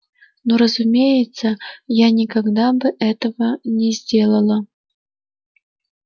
ну разумеется я никогда бы этого не сделала